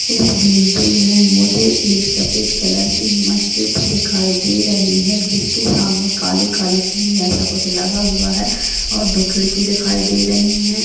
इस बिल्डिंग में मुझे एक सफेद कलर की मस्जिद दिखाई दे रही है। जिसके सामने काली-काली टीन जैसा कुछ लगा हुआ है और दो खिड़की दिखाई दे रही हैं।